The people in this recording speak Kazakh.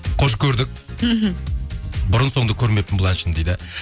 қош көрдік мхм бұрын соңды көрмеппін бұл әншіні дейді